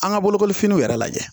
An ka bolokolifiniw yɛrɛ lajɛ